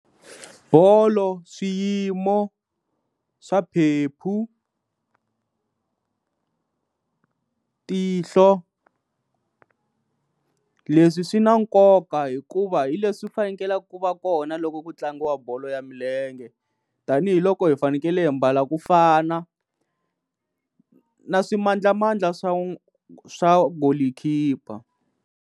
Bolo, swiyimo swa phephu, tihlo, leswi swi na nkoka hikuva hi leswi fanekelaka ku va kona loko ku tlangiwa bolo ya milenge tanihiloko hi fanekele hi mbala ku fana na swimadlamandla swa swa goalkeeper.